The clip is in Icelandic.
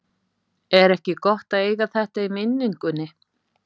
Er ekki gott að eiga þetta í minningunni?